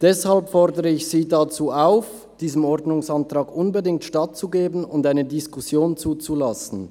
Deshalb fordere ich Sie dazu auf, diesem Ordnungsantrag unbedingt stattzugeben und eine Diskussion zuzulassen.